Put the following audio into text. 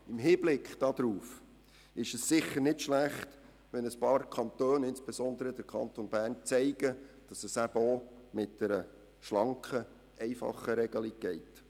Im Hinblick darauf ist es sicher nicht schlecht, wenn einige Kantone – auch der Kanton Bern – aufzeigen können, dass es auch mit einer schlanken, einfachen Regelung geht.